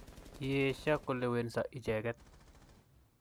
Kiesio kolewenso icheket